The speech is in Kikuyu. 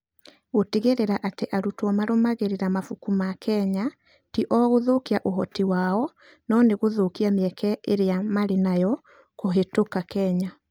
Gũtigĩrĩra atĩ arutwo marũmagĩrĩra mabuku ma Kenya ti o gũthũkia ũhoti wao, no nĩ gũthũkia mĩeke ĩrĩa marĩ nayo kũhĩtũka Kenya.